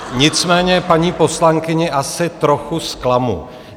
Nicméně paní poslankyni asi trochu zklamu.